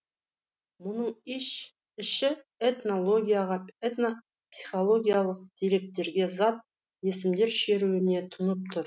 мұның іші этнологияға этнопсихологиялық деректерге зат есімдер шеруіне тұнып тұр